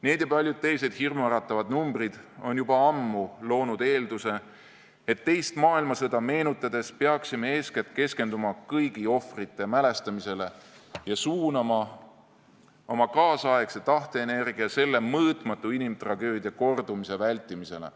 Need ja paljud teised hirmuäratavad numbrid on juba ammu loonud eelduse, et teist maailmasõda meenutades peaksime eeskätt keskenduma kõigi ohvrite mälestamisele ja suunama oma kaasaegsete tahteenergia selle mõõtmatu inimtragöödia kordumise vältimisele.